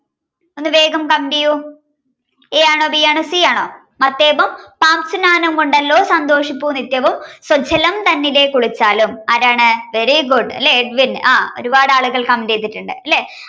ഒന്ന് വേഗം comment ചെയ്യൂ a ആണോ b ആണോ c ആണോ മത്തേപം സാംശുനാനം കൊണ്ടല്ലോ സന്തോഷിപ്പൂ നിത്യവും സ്വജ്ജലം തന്നിലെ കുളിച്ചാലും ആരാണ് very good ലെ ആരാണ് edwin ആഹ് ഒരുപാടാളുകൾ a comment ചെയ്തിട്ടുണ്ട് ലെ